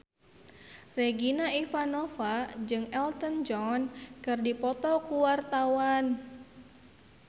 Regina Ivanova jeung Elton John keur dipoto ku wartawan